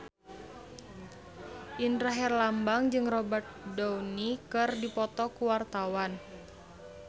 Indra Herlambang jeung Robert Downey keur dipoto ku wartawan